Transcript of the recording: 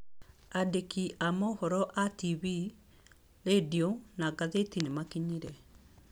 Aandĩki a mohoro a tibii, rĩndio, na ngathĩti nĩ makinyire.